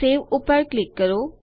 save ઉપર click કરો